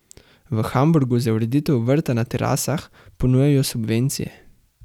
V Hamburgu za ureditev vrta na terasah ponujajo subvencije.